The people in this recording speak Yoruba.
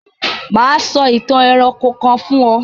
Mà á sọ ìtàn ẹranko kan fún ọ.